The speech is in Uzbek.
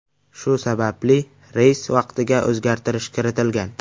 Shu sababli reys vaqtiga o‘zgartirish kiritilgan.